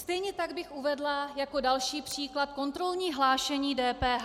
Stejně tak bych uvedla jako další příklad kontrolní hlášení DPH.